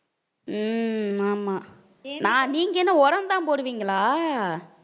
உம் ஆமா நா~ நீங்க என்ன உரம்தான் போடுவீங்களா